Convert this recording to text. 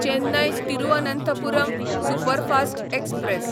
Chennai Thiruvananthapuram superfast express